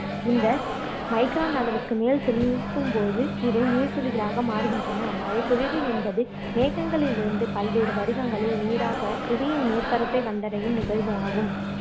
இந்த micron அளவுக்கு மேல் செலுத்தும்போது இவை நீர்த்துளிகளாக மாறுகின்றன மழைப்பொழிவு என்பது மேகங்களிலிருந்து பல்வேறு வடிவங்களில் நீராக புவியின் மேற்பரப்பை வந்தடையும் நிகழ்வு ஆகும்